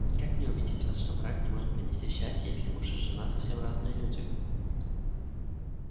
как мне убедить вас что брак не может принести счастья если муж и жена совсем разные люди